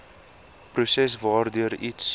proses waardeur iets